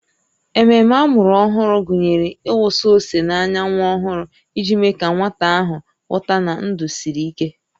Ememe amụrụ ọhụrụ gụnyere ịwụsa ose n'anya nwa ọhụrụ iji mee ka nwata ahụ ghọta na ndụ siri ike